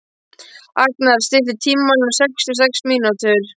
Agnar, stilltu tímamælinn á sextíu og sex mínútur.